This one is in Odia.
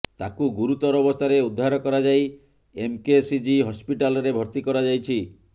ତାକୁ ଗୁରୁତର ଅବସ୍ଥାରେ ଉଦ୍ଧାର କରାଯାଇ ଏମକେସିଜି ହସପିଟାଲରେ ଭର୍ତ୍ତି କରାଯାଇଛି